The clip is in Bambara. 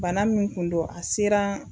Bana min kun don a sera